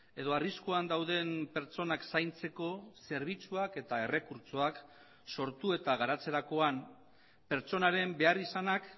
edo arriskuan dauden pertsonak zaintzeko zerbitzuak eta errekurtsoak sortu eta garatzerakoan pertsonaren beharrizanak